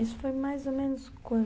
Isso foi mais ou menos